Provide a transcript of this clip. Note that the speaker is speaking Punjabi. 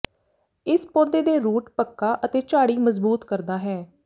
ਇਸ ਪੌਦੇ ਦੇ ਰੂਟ ਪੱਕਾ ਅਤੇ ਝਾੜੀ ਮਜ਼ਬੂਤ ਕਰਦਾ ਹੈ